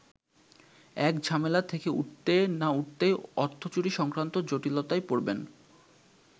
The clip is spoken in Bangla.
এক ঝামেলা থেকে উঠতে না উঠতেই অর্থচুরি সংক্রান্ত জটিলতায় পড়বেন।